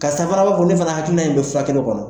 Karisa fana b'a ko ne fana hakilina in bɛ furakɛliw kɔnɔ.